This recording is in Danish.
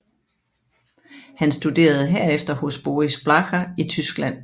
Han studerede herefter hos Boris Blacher i Tyskland